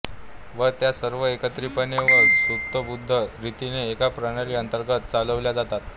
व त्या सर्व एकत्रीतपणे व सूत्रबद्ध रितीने एका प्रणाली अंतर्गत चालविल्या जातात